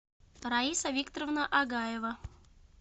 раиса викторовна агаева